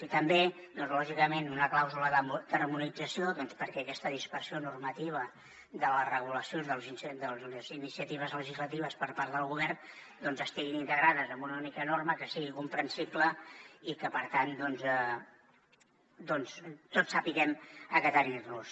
i també doncs lògicament una clàusula d’harmonització perquè aquesta dispersió normativa de les regulacions de les iniciatives legislatives per part del govern doncs estiguin integrades en una única norma que sigui comprensible i que per tant tots sapiguem a què atenir nos